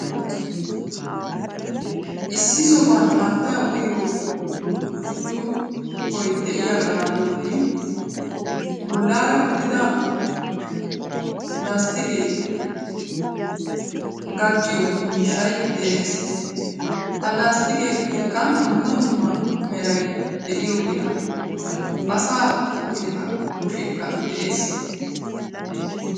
Issi sohuwan haattaa uyiyo burccukkoy de'iyaga bolli bollaara uttida lasttikke gacciyo miishshay de'ees. Ha lasttiqettikka dumma dumma meray deiyogeeta, asa kushshekka de'ees.